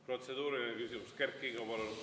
Protseduuriline küsimus, Kert Kingo, palun!